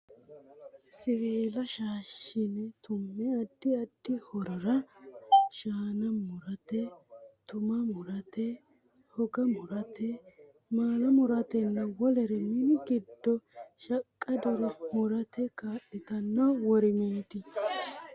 Siwiila shaashshine tumme addi addi horora: shaana mu'rate, tuma mu'rate, hoga mu'rate, maala mu'ratenna wolere mini giddo shaqqadore murmu'rate kaa'litanno worimeeti.